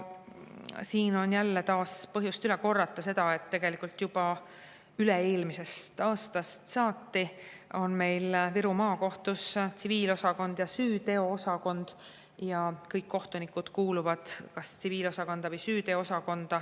" Siin on taas põhjust üle korrata seda, et tegelikult juba üle-eelmisest aastast saati on meil Viru Maakohtus tsiviilosakond ja süüteoosakond ja kõik kohtunikud kuuluvad kas tsiviilosakonda või süüteoosakonda.